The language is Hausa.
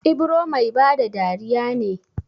Ibro Mai bada dariya ne